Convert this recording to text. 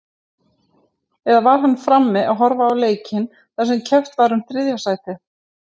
Eða var hann frammi að horfa á leikinn þar sem keppt var um þriðja sætið?